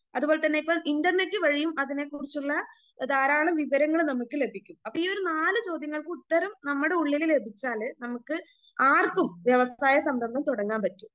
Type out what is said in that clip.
അതുപോലെതന്നെ ഇപ്പോൾ ഇൻറർനെറ്റ് വഴിയും അതിനെക്കുറിച്ചുള്ള ധാരാളം വിവരങ്ങള് നമ്മക്ക് ലഭിക്കും.അപ്പൊ ഈയൊരു നാല് ചോദ്യങ്ങൾക്ക് ഉത്തരം നമ്മടെ ഉള്ളില് ലഭിച്ചാല് നമ്മക്ക് ആർക്കും വ്യവസായ സംരംഭം തുടങ്ങാൻ പറ്റും.